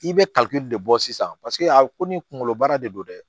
I bɛ kalite de bɔ sisan paseke a ko ni kunkolo baara de don dɛ